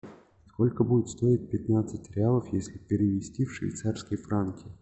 сколько будет стоить пятнадцать реалов если перевести в швейцарские франки